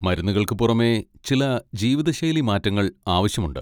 മരുന്നുകൾക്ക് പുറമേ, ചില ജീവിതശൈലീ മാറ്റങ്ങൾ ആവശ്യമുണ്ട്.